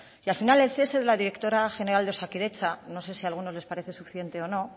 y al final el cese de la directora general de osakidetza no sé si alguno les parece suficiente o no